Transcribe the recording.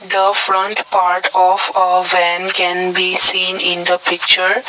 the front part of a van can be seen in the picture.